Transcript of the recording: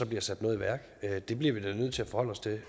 bliver sat noget i værk det bliver vi da nødt til at forholde os til